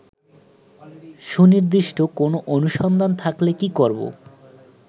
সুনির্দিষ্ট কোন অনুসন্ধান থাকলে কি করবো